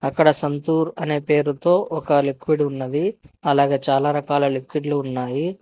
అక్కడ సంతూర్ అనే పేరుతో ఒక లిక్విడ్ ఉన్నది అలాగే చాలా రకాల లిక్విడ్లు ఉన్నాయి.